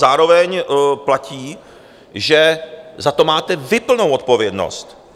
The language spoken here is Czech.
Zároveň platí, že za to máte vy plnou odpovědnost.